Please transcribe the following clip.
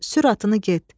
Sür atını get.